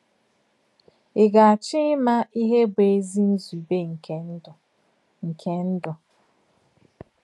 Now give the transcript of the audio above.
Ị̀ gà-àchọ́ ímà ìhè bụ́ èzì nzùbè nke ndú? nke ndú?